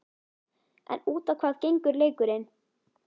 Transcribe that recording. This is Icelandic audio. En út á hvað gengur leikurinn?